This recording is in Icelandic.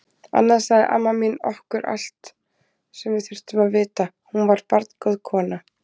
Annars sagði amma mín okkur allt sem við þurftum að vita, hún var barngóð kona.